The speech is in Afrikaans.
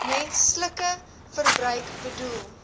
menslike verbruik bedoel